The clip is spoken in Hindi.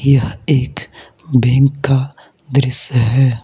यह एक बैंक का दृश्य है।